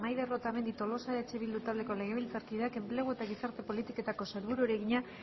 maider otamendi tolosa eh bildu taldeko legebiltzarkideak enplegu eta gizarte politiketako sailburuari egina